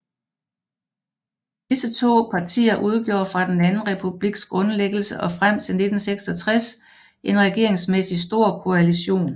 Disse to partier udgjorde fra den Anden Republiks grundlæggelse og frem til 1966 en regeringsmæssig stor koalition